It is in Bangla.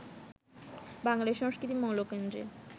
বাঙালি সংস্কৃতির মৌলকেন্দ্রে